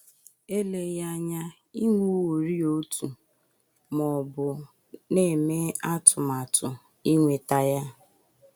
Eleghị anya i nweworị otu, ma ọ bụ na - eme atụmatụ inweta ya.